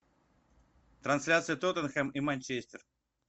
трансляция тоттенхэм и манчестер